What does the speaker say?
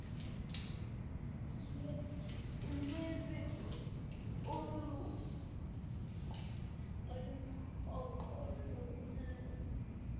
lwezinto oluyimpoqo lokumele